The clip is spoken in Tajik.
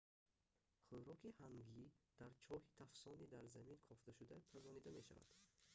хӯроки ҳангӣ дар чоҳи тафсони дар замин кофташуда пазонида мешавад